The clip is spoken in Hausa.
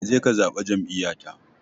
Ka je ka zaɓi jam'iyyata.